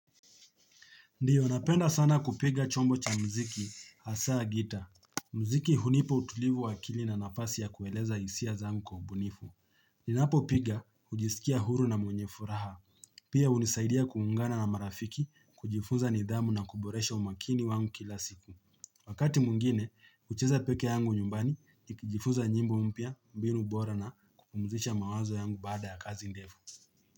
Ndiyo, napenda sana kupiga chombo cha mziki, hasa gita. Mziki hunipa utulivu wa akili na nafasi ya kueleza hisia zangu kwa ubunifu. Ninapopiga, hujisikia huru na mwenye furaha. Pia hunisaidia kuungana na marafiki, kujifunza nidhamu na kuboresha umakini wangu kila siku. Wakati mwingine, hucheza peke yangu nyumbani, nikijifunza nyimbo mpya, mbinu bora na, kupumuzisha mawazo yangu baada ya kazi ndefu.